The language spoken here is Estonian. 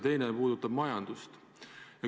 Teine puudutab majandust.